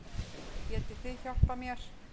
Getið þið hjálpað mér?